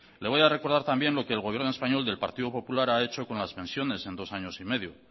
le voy a recordar también lo que el gobierno español del partido popular ha hecho con las pensiones en dos años y medio